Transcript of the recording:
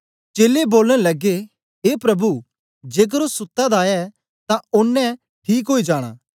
चेलें बोलन लगे ए प्रभु जेकर ओ सुत्ता दा ऐ तां ओनें ठीक ओई जाना